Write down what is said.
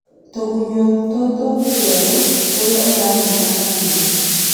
tũgunyũũyũnĩ mwerũ- ũrĩa ũranyĩta nyamũ.